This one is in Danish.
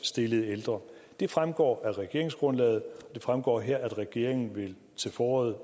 stillede ældre det fremgår af regeringsgrundlaget det fremgår her at regeringen til foråret